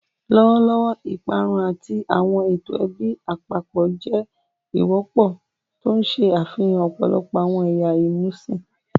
Lọwọlọwọ, iparun ati awọn eto ẹbi apapọ jẹ wọpọ, ti n ṣe afihan ọpọlọpọ awọn ẹya imusin.